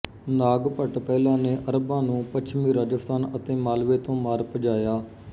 ਨਾਗਭਟ ਪਹਿਲਾ ਨੇ ਅਰਬਾਂ ਨੂੰ ਪੱਛਮੀ ਰਾਜਸਥਾਨ ਅਤੇ ਮਾਲਵੇ ਤੋਂ ਮਾਰ ਭਜਾਇਆ